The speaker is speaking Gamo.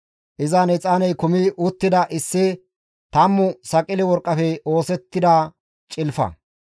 Izan exaaney kumi uttida issi tammu saqile worqqafe oosettida cilfata,